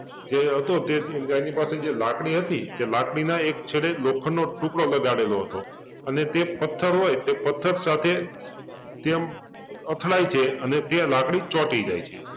જે હતો તે એની પાસે જે લાકડી હતી તે લાકડીના એક છેડે લોખંડનો ટૂકડો લગાડેલો હતો અને તે પથ્થર હોય તે પથ્થર સાથે તેમ અથડાય છે અને તે લાકડી ચોંટી જાય છે